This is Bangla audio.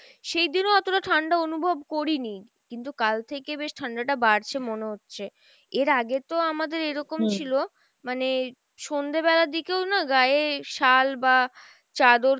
সেইদিন ও অতটা ঠাণ্ডা অনুভব করিনি, কিন্তু কাল থেকে বেশ ঠাণ্ডা টা বাড়ছে মনে হচ্ছে। এর আগে তো আমাদের এরকম ছিলো মানে সন্ধ্যে বেলার দিকেও না গায়ে শাল বা চাদর কিছু